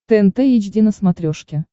тнт эйч ди на смотрешке